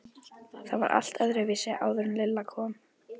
Það var allt öðruvísi áður en Lilla kom.